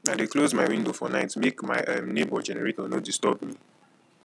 i dey close my window for night make my um nebor generator no disturb me